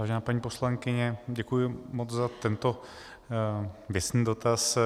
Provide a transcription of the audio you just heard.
Vážená paní poslankyně, děkuji moc za tento věcný dotaz.